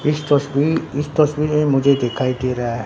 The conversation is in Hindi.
इस तस्वी इस तस्वीर में मुझे दिखाई दे रहा हैं--